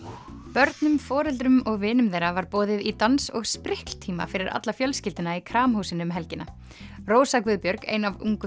börnum foreldrum og vinum þeirra var boðið í dans og fyrir alla fjölskylduna í Kramhúsinu um helgina rósa Guðbjörg ein af ungu